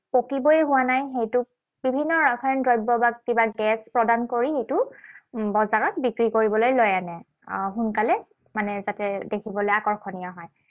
পকিবই হোৱা নাই, সেইটোক বিভিন্ন ৰাসায়নিক দ্ৰব্য বা কিবা গেছ প্ৰদান কৰি ইটো বজাৰত বিক্ৰী কৰিবলৈ লৈ আনে। আহ সোনকালে মানে যাতে দেখিবলৈ আকৰ্ষণীয় হয়।